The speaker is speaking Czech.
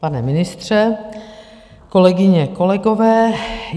Pane ministře, kolegyně, kolegové.